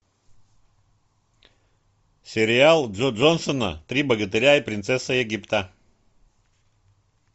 сериал джо джонсона три богатыря и принцесса египта